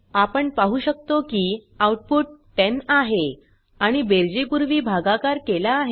आपण पाहु शकतो की आउटपुट 10 आहे आणि बेरजे पुर्वी भगाकार केला आहे